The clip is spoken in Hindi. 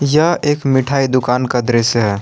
यह एक मिठाई दुकान का दृश्य है।